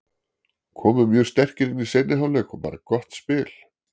Komum mjög sterkir inn í seinni hálfleik og bara gott spil.